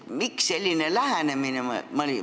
Miks selline lähenemine?